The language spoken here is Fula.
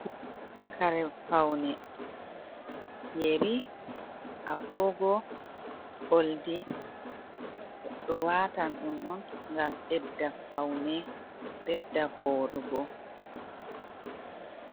Kare faune. yeri, agogo, oldi. Goɗɗo watan ɗum on gam ɓedda faune, bedda voɗugo.